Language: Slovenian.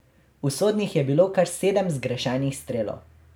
Usodnih je bilo kar sedem zgrešenih strelov.